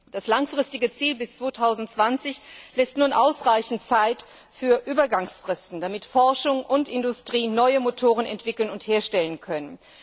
Das langfristige Ziel bis 2020 lässt nun ausreichend Zeit für Übergangsfristen, damit Forschung und Industrie neue Motoren entwickeln und herstellen können.